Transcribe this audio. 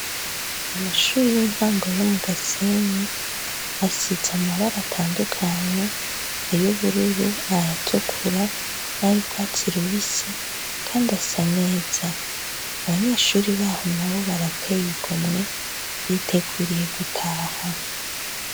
Amashuri y' intango yo mu Gasenyi, asize amabara atandukanye, iy' ubururu, aya tukura n' ay' urwatsi rubisi, kandi asa neza. Abanyeshuri baho nabo barateye igomwe, biteguriye gutaha.